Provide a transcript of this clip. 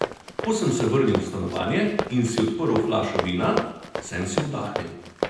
Ko sem se vrnil v stanovanje in si odprl flašo vina, sem si oddahnil.